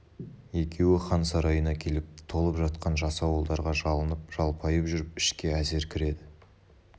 екеуі хан сарайына келіп толып жатқан жасауылдарға жалынып-жалпайып жүріп ішке әзер кіреді